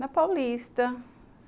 Na Paulista.